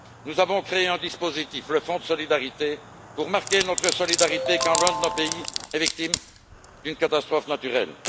Nous avons créé un dispositif, le Fonds de solidarité, pour marquer notre solidarité quand l'un de nos pays est victime d'une catastrophe naturelle.